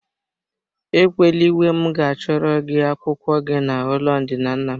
Ekwela iwe m ga achọrọ gị akwụkwọ gị na ụlọ ndina nna m.